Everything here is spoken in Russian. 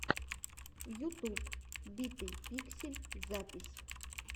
ютуб битый пиксель запись